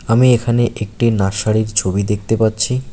আমি এখানে একটি নার্সারীর ছবি দেখতে পাচ্ছি।